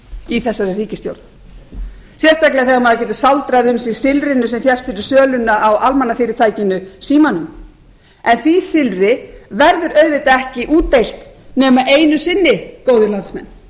í þessari ríkisstjórn sérstaklega þegar maður getur sáldrað um sig silfrinu sem fékkst fyrir söluna á almannafyrirtækinu símanum en því silfri verður auðvitað ekki útdeilt nema einu sinni góðir landsmenn